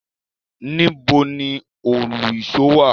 Níbo ni Òlu-ìsó wà?